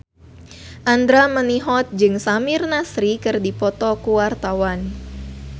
Andra Manihot jeung Samir Nasri keur dipoto ku wartawan